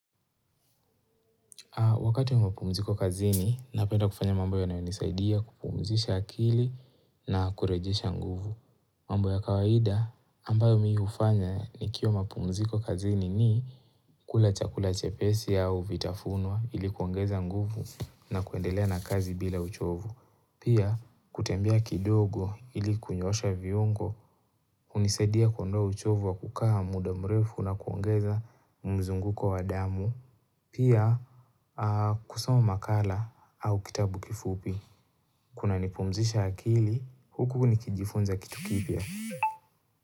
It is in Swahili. Wakati wa mapumziko kazini, napenda kufanya mambo yanayonisaidia kupumzisha akili na kurejesha nguvu. Mambo ya kawaida, ambayo mi hufanya nikio mapumziko kazini ni kula chakula chepesi au vitafunwa ili kuongeza nguvu na kuendelea na kazi bila uchovu. Pia, kutembea kidogo ili kunyoosha viungo, hunisaidia kuondoa uchovu wa kukaa muda mrefu na kuongeza mzunguko wa damu. Pia kusoma makala au kitabu kifupi Kunanipumzisha akili huku nikijifunza kitu kipya.